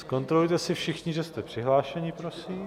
Zkontrolujte si všichni, že jste přihlášeni, prosím.